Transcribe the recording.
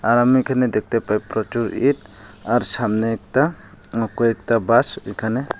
আর আমি এখানে দেখতে পাই প্রচুর ইট আর সামনে একতা কয়েকতা বাঁশ এখানে।